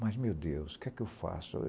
Mas, meu Deus, o que é que eu faço?